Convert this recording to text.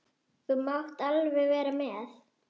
Þú mátt alveg vera með.